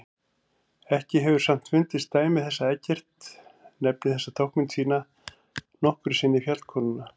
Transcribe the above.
Ekki hefur samt fundist dæmi þess að Eggert nefni þessa táknmynd sína nokkru sinni fjallkonuna.